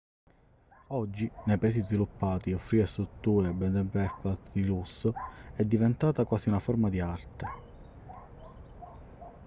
oggi nei paesi sviluppati offrire strutture bed & breakfast di lusso è diventata quasi una forma di arte